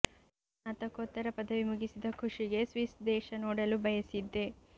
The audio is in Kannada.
ನಾನು ಸ್ನಾತಕೋತ್ತರ ಪದವಿ ಮುಗಿಸಿದ ಖುಶಿಗೆ ಸ್ವಿಸ್ ದೇಶ ನೋಡಲು ಬಯಸಿದ್ದೆ